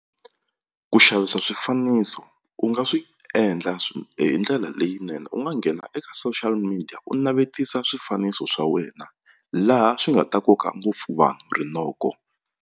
Ku xavisa swifaniso u nga swi endla hi ndlela leyinene u nga nghena eka social media u navetisa swifaniso swa wena laha swi nga ta koka ngopfu vanhu rinoko.